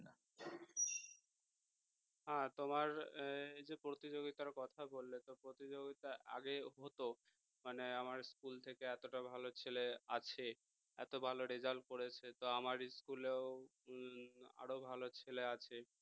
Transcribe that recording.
হ্যাঁ তোমার এই যে প্রতিযোগিতার কথা বললে প্রতিযোগিতা আগে হতো মানে আমার school থেকে এতটা ভালো ছেলে আছে এত ভালো result করেছে তো আমার school এও হম আরো ভালো ছেলে আছে